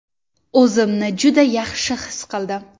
O‘zimni juda yaxshi his qildim.